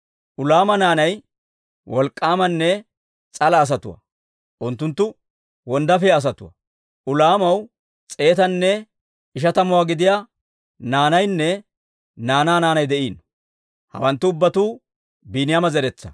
Ulaama naanay wolk'k'aamanne s'ala asatuwaa; unttunttu wonddaafiyaa asatuwaa. Ulaamaw s'eetanne ishatamuwaa gidiyaa naanaynne naanaa naanay de'iino. Hawanttu ubbatuu Biiniyaama zeretsaa.